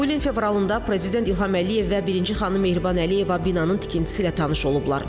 Bu ilin fevralında prezident İlham Əliyev və birinci xanım Mehriban Əliyeva binanın tikintisi ilə tanış olublar.